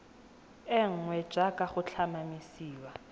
e nngwe jaaka go tlhomamisiwa